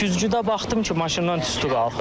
Güclüdə baxdım ki, maşından tüstü qalxır.